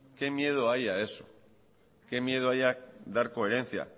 qué miedo hay a eso qué miedo hay a dar coherencia